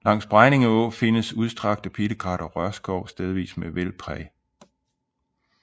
Langs Bregninge Å findes udstrakte pilekrat og rørskov stedvis med vældpræg